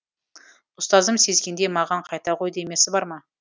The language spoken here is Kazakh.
ұстазым сезгендей маған қайта ғой демесі бар ма